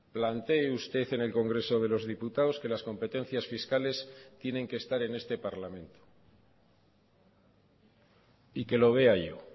plantee usted en el congreso de los diputados que las competencias fiscales tienen que estar en este parlamento y que lo vea yo